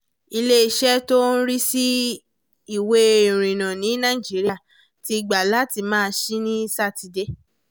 iléeṣẹ́ tó ń rí sí ìwé ìrìnnà ní nàìjíríà ti gbà láti máa ṣí ní sátidé